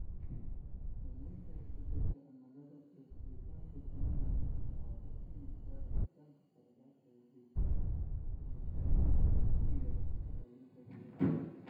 Saamaynta isbeddelka cimilada ee helitaanka biyo nadiif ah waxay keenaysaa rabitaanka korodhka ah ee dib u warshadaynta iyo ilaalinta biyaha.